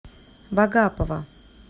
вагапова